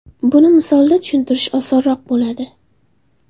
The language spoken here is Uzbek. Buni misolda tushuntirish osonroq bo‘ladi.